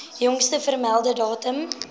jongste vermelde datum